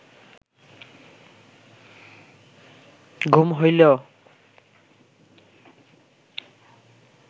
ঘুম হইলেও